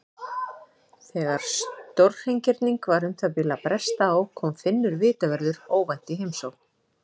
Þegar stórhreingerning var um það bil að bresta á kom Finnur vitavörður óvænt í heimsókn.